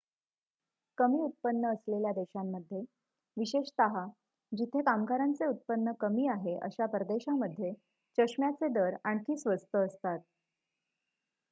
कमी उत्पन्न असलेल्या देशांमध्ये विशेषतः जिथे कामगारांचे उत्पन्न कमी आहे अशा परदेशामध्ये चष्म्याचे दर आणखी स्वस्त असतात